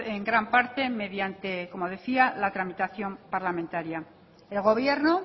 en gran parte mediante como decía la tramitación parlamentaria el gobierno